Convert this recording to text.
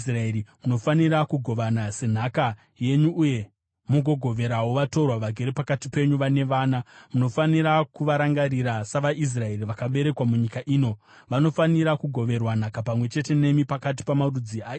Munofanira kugovana senhaka yenyu uye mugogoverawo vatorwa vagere pakati penyu vane vana. Munofanira kuvarangarira savaIsraeri vakaberekwa munyika ino; vanofanira kugoverwa nhaka pamwe chete nemi pakati pamarudzi aIsraeri.